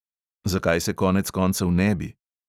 Zakaj se konec koncev ne bi?